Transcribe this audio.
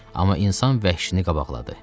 Amma insan vəhşini qabaqladı.